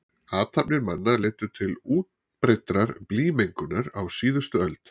Athafnir manna leiddu til útbreiddrar blýmengunar á síðustu öld.